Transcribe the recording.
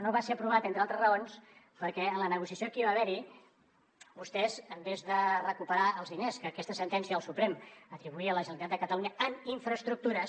no va ser aprovat entre altres raons perquè en la negociació que hi va haver vostès en lloc de recuperar els diners que aquesta sentència del suprem atribuïa a la generalitat de catalunya en infraestructures